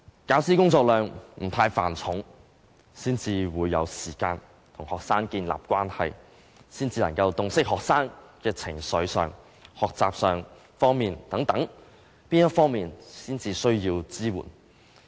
教師工作量不太繁重，才會有時間跟學生建立關係，才能洞悉學生在情緒及學習等哪方面需要支援。